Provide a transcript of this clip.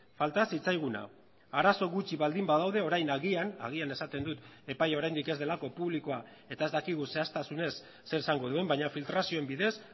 falta zitzaiguna arazo gutxi baldin badaude orain agian agian esaten dut epai oraindik ez delako publikoa eta ez dakigu zehaztasunez zer esango duen baina filtrazioen bidez